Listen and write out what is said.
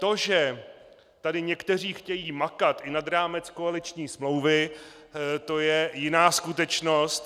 To, že tady někteří chtějí makat i nad rámec koaliční smlouvy, to je jiná skutečnost.